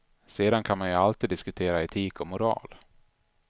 Sedan kan man ju alltid diskutera etik och moral.